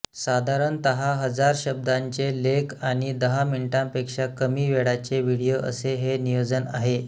साधारणतः हजार शब्दांचे लेख आणि दहा मिनिटांपेक्षा कमी वेळाचे व्हिडीओ असे हे नियोजन आहे